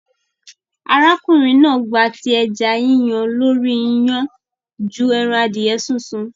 Arákùnrin náà gbati ẹja Yíyan lórí iyán ju ẹran adìẹ súnsun.